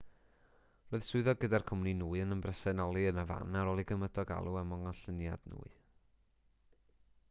roedd swyddog gyda'r cwmni nwy yn ymbresenoli yn y fan ar ôl i gymydog alw am ollyngiad nwy